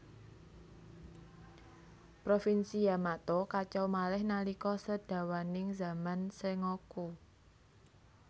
Provinsi Yamato kacau malih nalika sedawaning zaman Sengoku